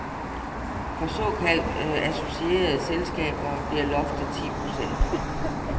For såkaldt associerede selskaber bliver loftet ti procent.